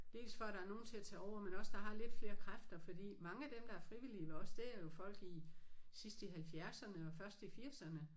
Dels for at der er nogen til at tage over men også der har lidt flere kræfter fordi mange af dem der er frivillige ved os det er jo folk i sidst i halvfjerdserne og først i firserne